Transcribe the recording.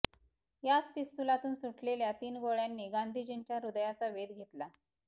याच पिस्तुलातून सुटलेल्या तीन गोळ्य़ांनी गांधीजींच्या हृदयाचा वेध घेतला